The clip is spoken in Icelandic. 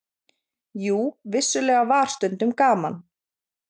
Jú, vissulega var stundum gaman.